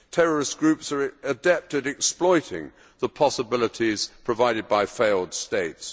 Terrorist groups are adept at exploiting the possibilities provided by failed states.